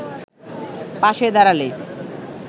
পাশে দাঁড়ালে